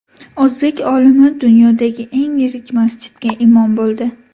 O‘zbek olimi dunyodagi eng yirik masjidga imom bo‘ldi.